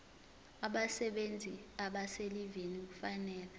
abasebenzi abaselivini kufanele